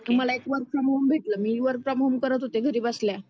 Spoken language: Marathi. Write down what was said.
मला एक वर्क फ्रॉम होम भेटलं. मी वर्क फ्रॉम होम करत होते घरी बसल्या.